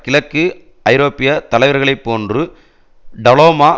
கிழக்கு ஐரோப்பிய தலைவர்களை போன்று டலோமா